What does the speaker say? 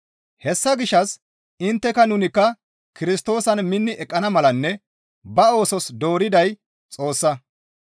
Hessa gishshas intteka nunikka Kirstoosan minni eqqana malanne ba oosos dooriday Xoossa.